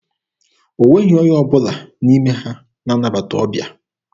O nweghị onye ọbụla n'ime ha na-anabata ọbịa.